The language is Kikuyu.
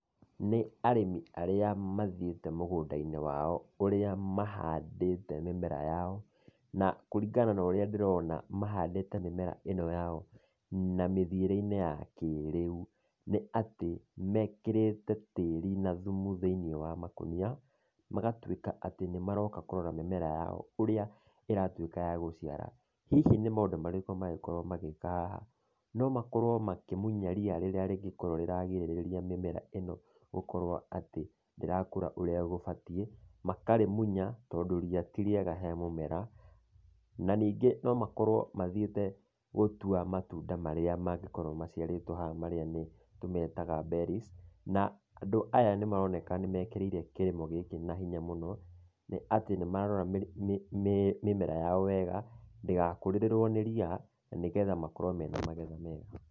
Nĩ arĩmi arĩa mathiĩte mũgũnda-inĩ wao, ũrĩa mahandĩte mĩmera yao, na kũringana na ũrĩa ndĩrona, mahandĩte mĩmera ĩno yao na mĩthiĩre-inĩ ya kĩrĩu. Nĩ atĩ, mekĩrĩte tĩri na thumu thĩiniĩ wa makũnia, magatuĩka atĩ nĩmaroka kũrora mĩmera yao, ũrĩa ĩratuĩka ya gũciara. Hihi nĩ maũndũ marĩkũ mangĩkorwo magĩka haha? No makorwo makĩmunya ria rĩrĩa rĩngĩkorwo nĩrĩrarigĩrĩria mĩmera gũkorwo atĩ ndĩrakũra ũrĩa gũbatiĩ, makarĩmunya, tondũ ria ti rĩega he mũmera, na ningĩ no makorwo mathiĩte gũtua matunda marĩa mangĩkorwo maciarĩtũo haha, marĩa nĩ tũmetaga berries, na andũ aya nĩmaroneka nĩmekĩrĩire kĩrĩmo gĩkĩ na hinya mũno, nĩ atĩ nĩmarora mĩmera yao wega, ndĩgakũrĩrĩrũo nĩ ria, na nĩgetha makorwo mena magetha mega.